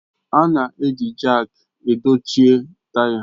A na-eji Jaak dochie taya